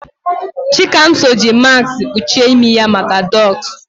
Chikamso ji maskị kpuchie imi ya maka dọstụ.